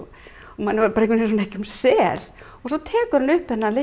manni var bara ekki um sel og svo tekur hann upp þennan